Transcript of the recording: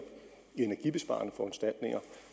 i energibesparende foranstaltninger